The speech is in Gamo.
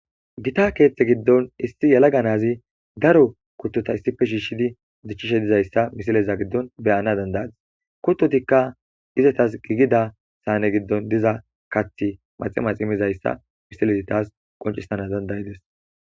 gita keeththe giddon issi yalaganazi daro kuttota issife shiishshidi zichchishe dizayssa misileza giddon beyana dandayadis kuttotikka izatas giigida saane giddon diza kathi maximas imizayssa misilezi taas qoncissana dandayides